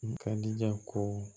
N ka diɲɛ ko